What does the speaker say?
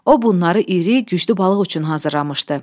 O bunları iri, güclü balıq üçün hazırlamışdı.